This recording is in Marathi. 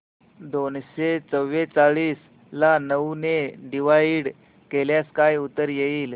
दोनशे चौवेचाळीस ला नऊ ने डिवाईड केल्यास काय उत्तर येईल